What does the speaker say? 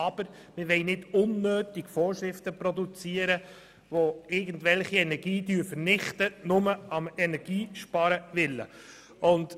Aber wir wollen keine unnötigen Vorschriften produzieren, die irgendwelche Energie vernichten, nur um des Energiesparens willen.